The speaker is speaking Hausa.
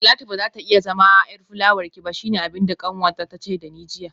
Talatu bazata iya zama yar fulawarki ba shine abinda kanwata tace dani jiya